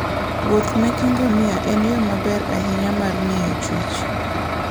Wuoth meke ngamia en yo maber ahinya mar ng'iyo chwech.